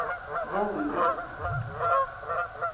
vollene